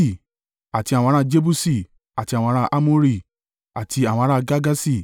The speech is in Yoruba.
àti àwọn ará Jebusi, àti àwọn ará Amori, àti àwọn ará Girgaṣi,